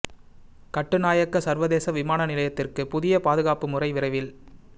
கட்டுநாயக்க சர்வதேச விமான நிலையத்திற்கு புதிய பாதுகாப்பு முறை விரைவில்